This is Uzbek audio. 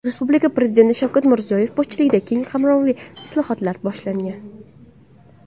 Respublikada Prezident Shavkat Mirziyoyev boshchiligida keng qamrovli islohotlar boshlangan.